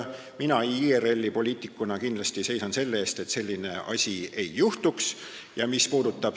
Mina IRL-i poliitikuna seisan kindlasti selle eest, et sellist asja ei juhtuks.